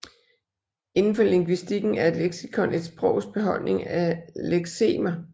Indenfor lingvistikken er et leksikon et sprogs beholdning af leksemer